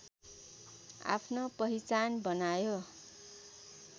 आफ्नो पहिचान बनायो